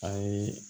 A ye